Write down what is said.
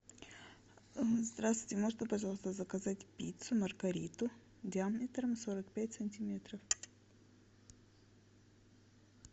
здравствуйте можно пожалуйста заказать пиццу маргариту диаметром сорок пять сантиметров